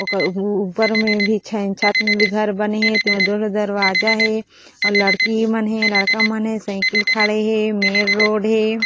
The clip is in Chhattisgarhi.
ओकर ऊपर में भी छत बने हे तेमा दो ठो दरवाजा हे अउ लड़की मन हे लड़का मन हे सइकिल खड़े हे मेन रोड हे।